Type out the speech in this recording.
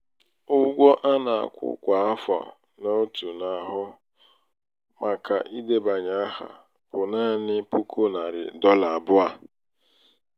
ụgwọ a na-akwụ kwa afọ n'otu na-ahụ màkà idebanye áhà um bụ naanị um puku narị dọla abụọ.